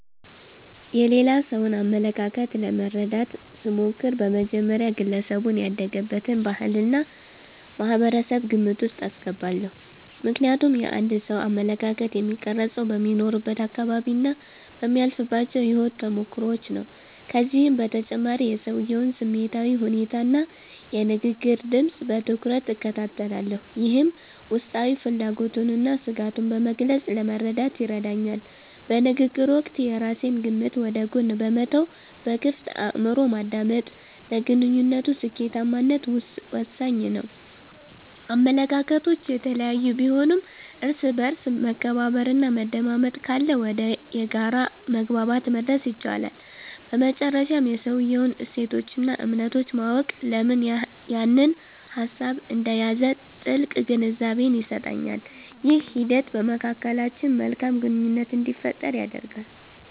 የሌላ ሰውን አመለካከት ለመረዳት ስሞክር፣ በመጀመሪያ ግለሰቡ ያደገበትን ባህልና ማህበረሰብ ግምት ውስጥ አስገባለሁ። ምክንያቱም የአንድ ሰው አመለካከት የሚቀረፀው በሚኖርበት አካባቢና በሚያልፍባቸው የህይወት ተሞክሮዎች ነው። ከዚህም በተጨማሪ የሰውየውን ስሜታዊ ሁኔታና የንግግር ድምፅ በትኩረት እከታተላለሁ፤ ይህም ውስጣዊ ፍላጎቱንና ስጋቱን በግልፅ ለመረዳት ይረዳኛል። በንግግር ወቅት የራሴን ግምት ወደ ጎን በመተው በክፍት አእምሮ ማዳመጥ፣ ለግንኙነቱ ስኬታማነት ወሳኝ ነው። አመለካከቶች የተለያዩ ቢሆኑም፣ እርስ በእርስ መከባበርና መደማመጥ ካለ ወደ የጋራ መግባባት መድረስ ይቻላል። በመጨረሻም የሰውየውን እሴቶችና እምነቶች ማወቅ፣ ለምን ያንን ሀሳብ እንደያዘ ጥልቅ ግንዛቤን ይሰጠኛል። ይህ ሂደት በመካከላችን መልካም ግንኙነት እንዲፈጠር ያደርጋል።